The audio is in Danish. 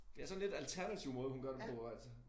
Det er sådan lidt alternativ måde hun gør det på altså